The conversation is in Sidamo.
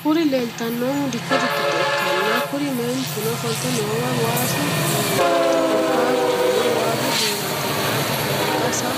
Kuri lelitanohu dikote gido ikana kuri manotino oflite noowi waasu duunati korikatuno waasu duunati yate anigasa